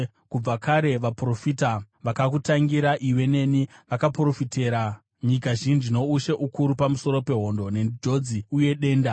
Kubva kare, vaprofita vakakutangira iwe neni vakaprofitira nyika zhinji noushe ukuru pamusoro pehondo, nenjodzi uye denda.